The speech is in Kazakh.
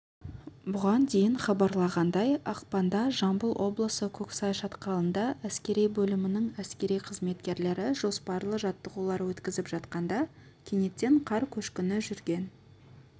бұған дейін хабарлағандай ақпанда жамбыл облысы көксай шатқалында әскери бөлімінің әскери қызметкерлері жоспарлы жаттығулар өткізіп жатқанда кенеттен қар көшкіні жүрген